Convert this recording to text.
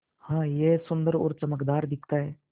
हाँ यह सुन्दर और चमकदार दिखता है